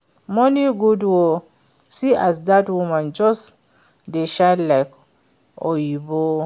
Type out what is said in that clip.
Money good oo, see as dat woman just dey shine like oyibo